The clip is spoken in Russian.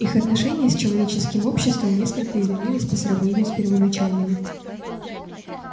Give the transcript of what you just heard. их отношения с человеческим обществом несколько изменились по сравнению с первоначальными